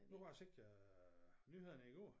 Nu har jeg set øh nyhederne i går